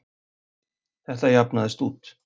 Þetta jafnaðist út.